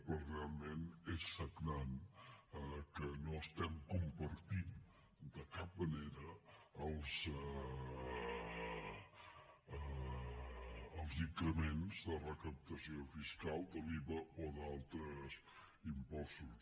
però realment és sagnant que no estiguem compartint de cap manera els increments de recaptació fiscal de l’iva o d’altres impostos